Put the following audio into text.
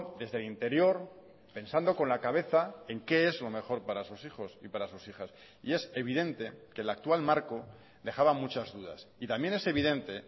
desde el interior pensando con la cabeza en qué es lo mejor para sus hijos y para sus hijas y es evidente que el actual marco dejaba muchas dudas y también es evidente